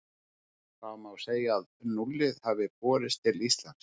Þá má segja að núllið hafi borist til Íslands.